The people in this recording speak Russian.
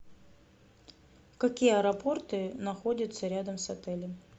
какие аэропорты находятся рядом с отелем